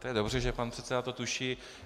To je dobře, že pan předseda to tuší.